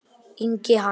Ingi Hans.